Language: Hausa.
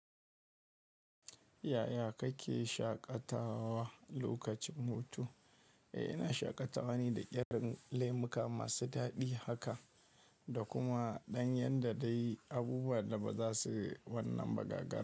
Yaya kake shaƙatawa lokacin hutu? Eh ina shaƙatawa ne da ƙirin lemuka masu daɗi haka, da kuma ɗanyar da dai abubuwan da ba za su wannan ba gagara.